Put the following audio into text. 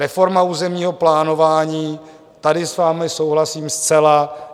Reforma územního plánování - tady s vámi souhlasím zcela.